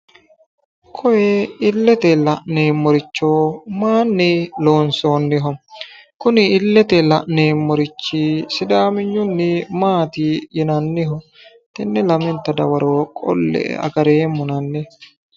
Koye illete la'neemmoricho mayinni loonsoonniho? Kuni illete la'neemmorichi sidaamenyunni maati yinanniho? Tenne lamenta dawaro qolle"e agareemmona hanni.